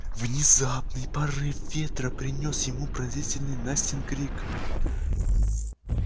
внезапный порыв ветра принёс ему пронзительный настин крик